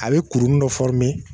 A be kuruni dɔ